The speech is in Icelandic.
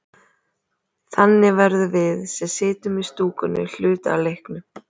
Þannig verðum við, sem sitjum í stúkunni, hluti af leiknum.